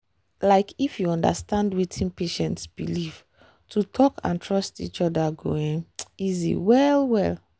like if you understand wetin patient believe to talk and trust each other go um easy well-well.